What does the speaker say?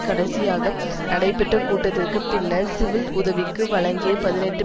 கடைசியாக நடைபெற்ற கூட்டத்திற்கு பின்னர் சிவில் உதவிக்கு வழங்கிய பதினெட்டு